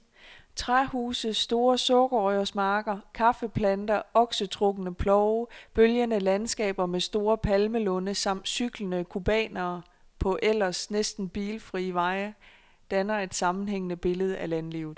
Træhuse, store sukkerrørsmarker, kaffeplanter, oksetrukne plove, bølgende landskaber med store palmelunde samt cyklende cubanere på ellers næsten bilfrie veje danner et sammenhængende billede af landlivet.